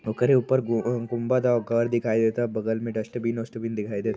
ओकरे ऊपर गु उं गुंबद औ घर दिखाई देता। बगल में डस्टबिन ओस्टबिन दिखाई दे --